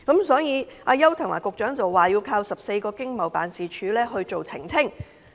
所以，邱騰華局長表示，要靠14個經濟貿易辦事處來作出澄清。